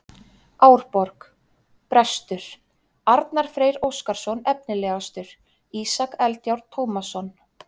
Árborg: Bestur: Arnar Freyr Óskarsson Efnilegastur: Ísak Eldjárn Tómasson